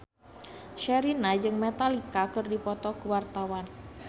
Sherina jeung Metallica keur dipoto ku wartawan